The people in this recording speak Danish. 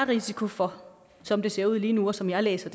risiko for som det ser ud lige nu og som jeg læser